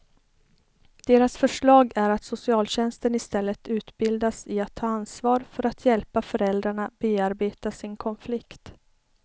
Deras förslag är att socialtjänsten istället utbildas i att ta ansvar för att hjälpa föräldrarna bearbeta sin konflikt.